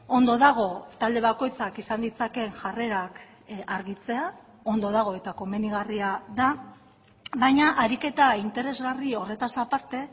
ondo dago talde bakoitzak izan ditzakeen jarrerak argitzea ondo dago eta komenigarria da baina ariketa interesgarri horretaz aparte